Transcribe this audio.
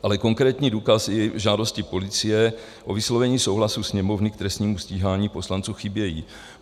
Ale konkrétní důkazy v žádosti policie o vyslovení souhlasu Sněmovny k trestnímu stíhání poslanců chybějí.